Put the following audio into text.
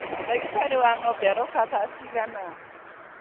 Ndagĩtarĩ wa ng'ombe aroka thaa cigana?